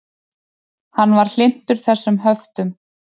Hann var hlynntur þessum höftum.